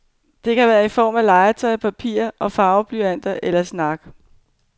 Det kan være i form af legetøj, papir og farveblyanter eller snak.